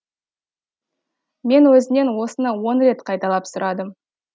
мен өзінен осыны он рет қайталап сұрадым